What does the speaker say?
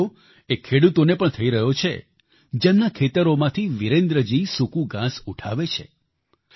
તેનો ફાયદો એ ખેડૂતોને પણ થઈ રહ્યો છે જેમના ખેતરોમાંથી વિરેન્દ્રજી સૂકુ ઘાંસ ઉઠાવે છે